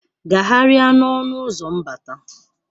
Gagharịa n'ọnụ ụzọ mbata!